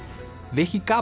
viki